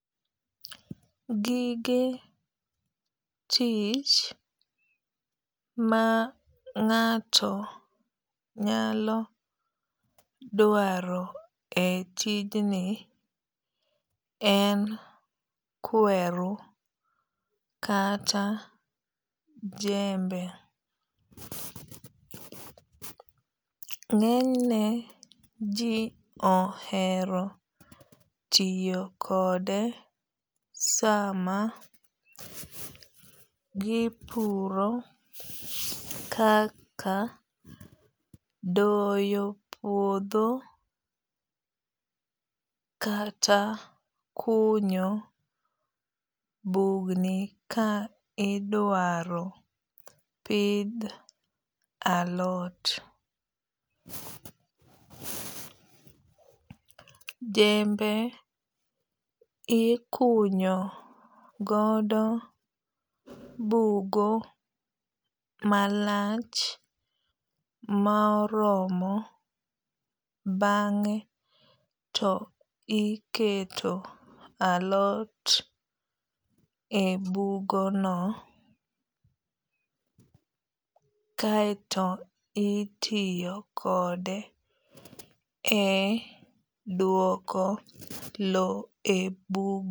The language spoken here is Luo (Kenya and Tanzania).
Gige tich ma ng'ato nyalo dwaro e tijni en kweru kata jembe. Ng'enyne ji ohero tiyo kode sama gipuro kaka doyo puodho kata kunyo bugni ka idwaro pidh alot. Jembe ikunyu kodo bugo malach ma oromo bang'e to iketo alot e bugo no kaeto itiyo kode e duoko lo e bugo.